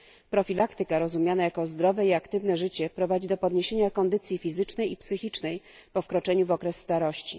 Profilaktyka rozumiana jako zdrowe i aktywne życie prowadzi do podniesienia kondycji fizycznej i psychicznej po wkroczeniu w okres starości.